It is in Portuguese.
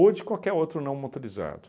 ou de qualquer outro não motorizado.